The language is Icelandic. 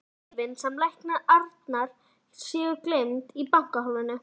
Eða að lyfin sem lækna Arnar séu geymd í bankahólfinu.